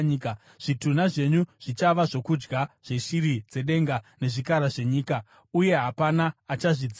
Zvitunha zvenyu zvichava zvokudya zveshiri dzedenga nezvikara zvenyika, uye hapana achazvidzinga.